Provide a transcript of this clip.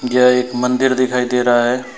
यह एक मंदिर दिखाई दे रहा है।